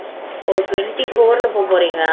ஓ twenty four ல